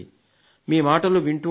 మీ మాటలు వింటూ ఉంటాను